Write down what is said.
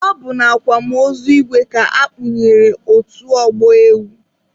Ọ bụ na akwamozu igwe ka akpụnyere otu ọgbọ ewu.